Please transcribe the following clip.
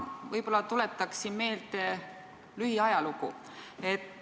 Võib-olla tuletaksin meelde lähiajalugu.